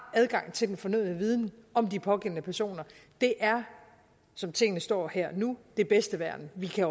adgang til den fornødne viden om de pågældende personer det er som tingene står her og nu det bedste værn vi kan